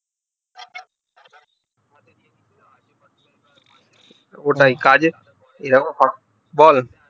ওটাই কাজে বল